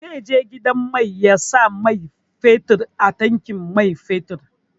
Zai je gidan mai ya sa man fetur a tankin man fetur.